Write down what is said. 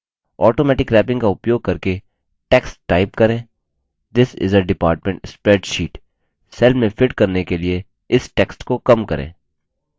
automatic wrapping का उपयोग करके text type करेंthis is a department spreadsheet